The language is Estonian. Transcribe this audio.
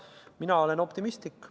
Mina olen optimistlik.